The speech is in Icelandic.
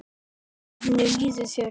Hvernig líður þér?